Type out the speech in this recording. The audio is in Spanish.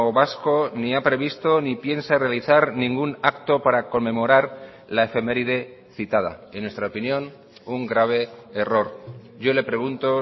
vasco ni ha previsto ni piensa realizar ningún acto para conmemorar la efeméride citada en nuestra opinión un grave error yo le pregunto